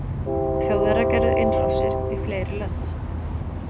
þjóðverjar gerðu innrásir í fleiri lönd